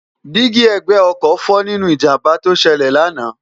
dí́gí ẹ̀gbẹ́ ọkọ̀ fọ́ nínú ìjàmbá tó ṣẹlẹ̀ lánàá